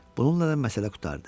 Bununla da məsələ qurtardı.